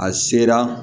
A sera